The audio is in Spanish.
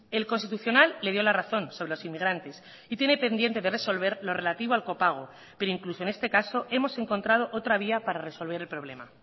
el constitucional le dio la razón sobre los inmigrantes y tiene pendiente de resolver lo relativo al copago pero incluso en este caso hemos encontrado otra vía para resolver el problema